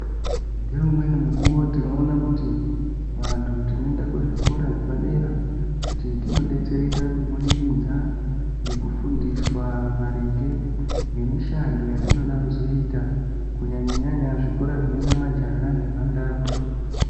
Ngeumweni mujuwo tinoona kuti vantu tinoenda kuzvikora zvedera dera kuti tinodetsereka kubudikidza ngekufundiswa maringe ngemushando yatinoda kuzoita kunyanyanyanya zvikoro zbinoenda majaha nemhandara.